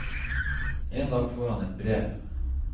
En dag får han et brev.